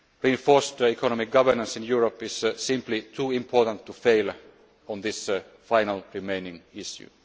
solution. Reinforced economic governance in Europe is simply too important to fail on this final remaining